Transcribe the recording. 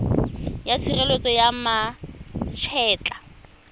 ya tshireletso ya ma etla